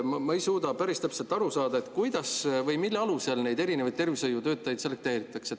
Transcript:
Ma ei suuda päris täpselt aru saada, kuidas või mille alusel neid tervishoiutöötajaid selekteeritakse.